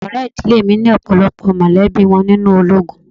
Àwọn ọ̀rẹ́ ìdílé mi ni ọ̀pọ̀lọpọ̀ mọ̀lẹ́bí wọn nínú ológun.